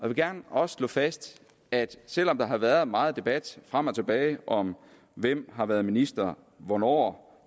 vil gerne også slå fast at selv om der har været meget debat frem og tilbage om hvem har været minister hvornår